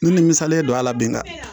Ni ni misalen don a la bi nka